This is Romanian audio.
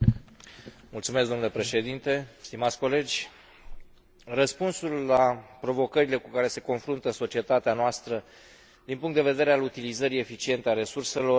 Răspunsul la provocările cu care se confruntă societatea noastră din punctul de vedere al utilizării eficiente a resurselor nu are cum să fie unul prea simplu sau prea ușor de identificat.